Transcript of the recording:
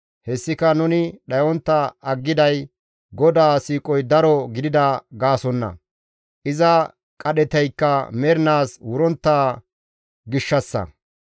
Hessika nuni dhayontta aggiday GODAA siiqoy daro gidida gaasonna; iza qadhetaykka mernaas wurontta gishshassa.